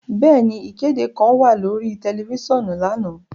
Bẹẹni, ikede kan wa lori tẹlifisiọnu lana.